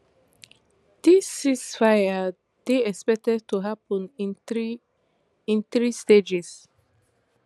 dis cease fire dey expected to happun in three in three stages